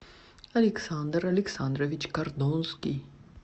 александр александрович кордонский